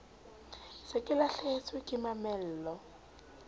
se ke lahlehetswe ke mamello